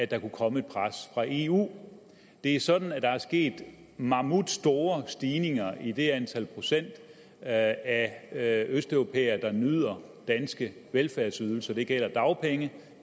der kunne komme et pres fra eu det er sådan at der er sket mammutstore stigninger i det antal af af østeuropæere der nyder danske velfærdsydelser det gælder dagpenge